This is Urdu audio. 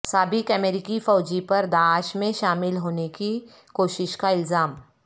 سابق امریکی فوجی پر داعش میں شامل ہونے کی کوشش کا الزام